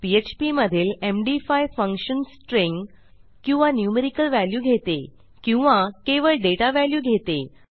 PHP मधील MD five function string किंवा numerical value घेते किंवा केवळ डेटा व्हॅल्यू घेते